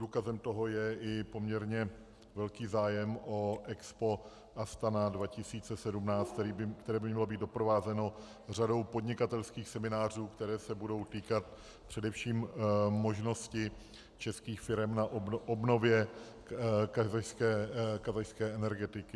Důkazem toho je i poměrně velký zájem o EXPO Astana 2017, které by mělo být doprovázeno řadou podnikatelských seminářů, které se budou týkat především možnosti českých firem na obnově kazašské energetiky.